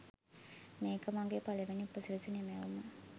මේක මගේ පලවෙනි උපසිරැසි නිමැවුම